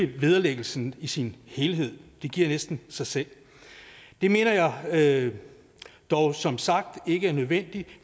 vederlæggelsen i sin helhed det giver næsten sig selv det mener jeg dog som sagt ikke er nødvendigt